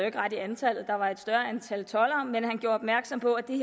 ikke ret i antallet der var et større antal toldere men han gjorde opmærksom på at det